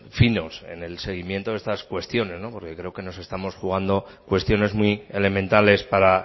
finos en el seguimiento de estas cuestiones porque creo que nos estamos jugando cuestiones muy elementales para